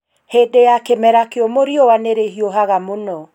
Hĩndĩ ya kĩmera kiumũ riũa nĩ rĩhiũhaga mũno.